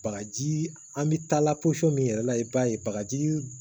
Bagaji an bɛ taa la posɔn min yɛrɛ la i b'a ye bakaji